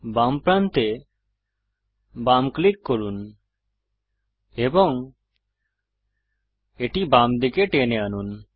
বাম প্রান্তে বাম ক্লিক করুন এবং এটি বামদিকে টেনে আনুন